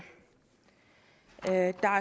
der er